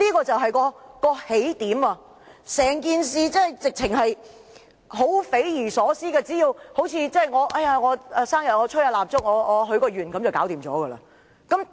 整件事相當匪夷所思，好像生日時吹蠟燭許個願便可成真般。